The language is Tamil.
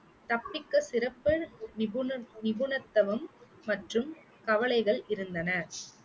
தப்பிக்க சிறப்பு நிபுண~ நிபுணத்துவம் மற்றும் கவலைகள் இருந்தன